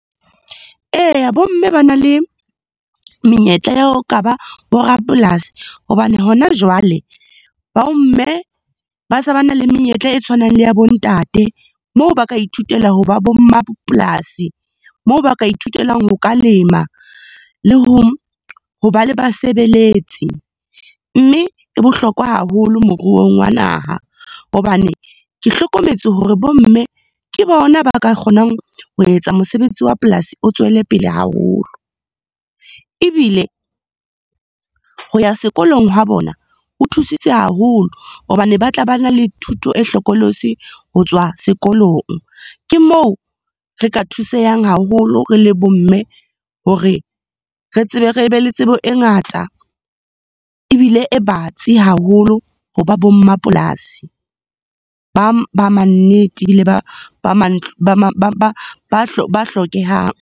Eya, bo mme ba na le menyetla ya ho ka ba bo rapolasi hobane hona jwale bomme ba se ba na le menyetla e tshwanang le ya bo ntate, moo ba ka ithutela ho ba bo mmapolasi, moo ba ka ithutelang ho ka lema le ho ba le basebeletsi. Mme e bohlokwa haholo moruong wa naha, hobane ke hlokometse hore bomme ke bona ba ka kgonang ho etsa mosebetsi wa polasi o tswelepele haholo. Ebile ho ya sekolong ha bona, ho thusitse haholo hobane ba tla ba na le thuto e hlokolosi ho tswa sekolong. Ke moo, re ka thusehang haholo re le bo mme, hore re tsebe, re be le tsebo e ngata ebile e batsi haholo ho ba bo mmapolasi ba mannete ebile ba hlokehang.